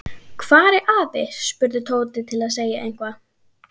Hvar er afi? spurði Tóti til að segja eitthvað.